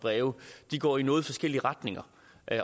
breve går i noget forskellige retninger